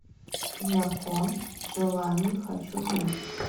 закон желаний хочу видеть